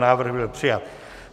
Návrh byl přijat.